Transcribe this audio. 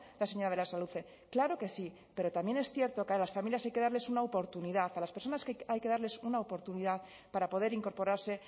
la señora berasaluze claro que sí pero también es cierto que a las familias hay que darles una oportunidad a las personas hay que darles una oportunidad para poder incorporarse